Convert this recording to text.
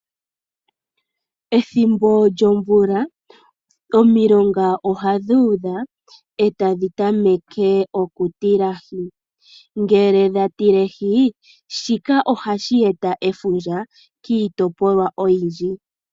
Ethimbo lyomvula omilonga ohadhi udha etadhi tameke oku tilahi, ngele dha tilehi shika ohashi eta efundja kiitopolwa oyindji.